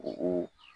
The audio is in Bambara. U ko